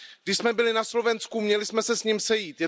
Když jsme byli na Slovensku, měli jsme se s ním sejít.